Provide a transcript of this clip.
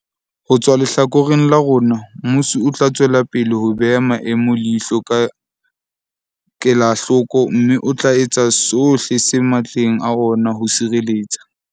Ho tswa lehlakoreng la rona, mmuso o tla tswelapele ho beha maemo leihlo ka kelahloko mme o tla etsa sohle se matleng a ona ho sireletsa